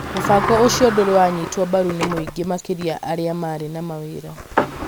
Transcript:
Mũbango ũcio ndũrĩ waanyitwo mbaru ni mũingĩ makĩria arĩa marĩ na mawĩra.